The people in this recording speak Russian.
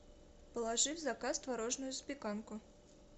положи в заказ творожную запеканку